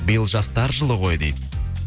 биыл жастар жылы ғой дейді